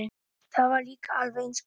Það var líka alveg eins gott.